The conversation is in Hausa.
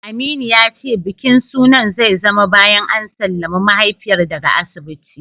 Aminu ya ce bikin sunan zai zama bayan an sallami mahaifiyar daga asibiti.